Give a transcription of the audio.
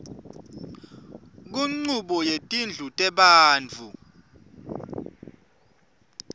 kunchubo yetindlu tebantfu